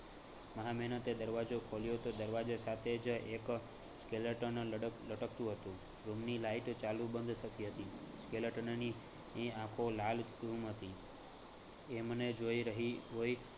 મહા મેહનતે દરવાજો ખોલ્યો તો દરવાજા સાથે જ એક skeleton લડક લટકતું હતું room ની લાઈટ ચાલુ બંધ થતી હતી skeleton ની ની આખો લાલઘુમ હતી, એ મને જોઈ રહી હોઈ